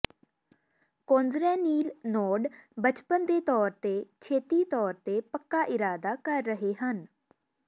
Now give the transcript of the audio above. ਕੌਨਜਰੈਨੀਿਲ ਨੋਡ ਬਚਪਨ ਦੇ ਤੌਰ ਤੇ ਛੇਤੀ ਤੌਰ ਤੇ ਪੱਕਾ ਇਰਾਦਾ ਕਰ ਰਹੇ ਹਨ